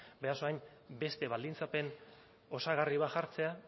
beraz orain beste baldintzapen osagarri bat jartzea